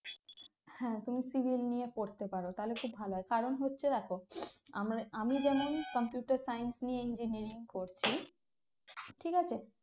হ্যাঁ তুমি civil নিয়ে পড়তে পারো তাহলে খুব ভালো হয় কারণ হচ্ছে দেখো আমার আমি যেমন computer science নিয়ে engineering করছি ঠিক আছে